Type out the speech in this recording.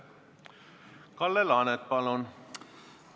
Kalle Laanet, palun!